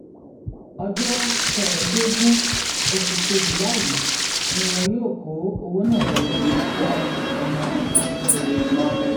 ọjọ kẹẹẹdógún oṣù kejìlá yìí ni wọn yóò kọ owó ná jáde bíi ọmọ tuntun